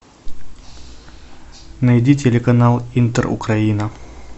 найди телеканал интер украина